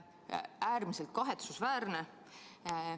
Äärmiselt kahetsusväärne!